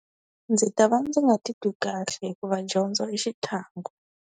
Ndzi ta va ndzi nga ti twi kahle hikuva dyondzo i xitlhangu.